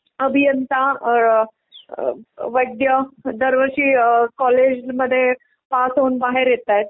खूप सारे अभियंता अ वैद्य दरवर्षी अ कॉलेजमध्ये पास होऊन बाहेर येतायेत.